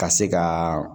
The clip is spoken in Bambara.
Ka se ka